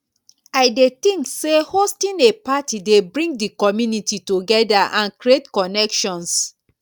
i dey think say hosting a party dey bring di community together and create connections.